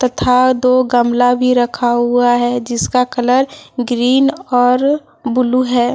तथा दो गमला भी रखा हुआ है जिसका कलर ग्रीन और ब्लू है।